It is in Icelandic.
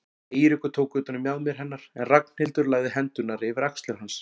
Eiríkur tók utan um mjaðmir hennar en Ragnhildur lagði hendurnar yfir axlir hans.